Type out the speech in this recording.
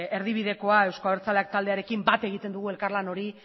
erdibiderako euzko abertzaleak taldearekin bat egiten dugu elkarlan hori